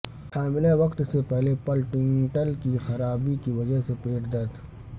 حاملہ وقت سے پہلے پلٹینٹل کی خرابی کی وجہ سے پیٹ درد